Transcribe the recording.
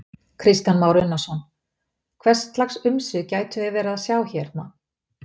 Kristján Már Unnarsson: Hvers lags umsvif gætum við verið að sjá hérna?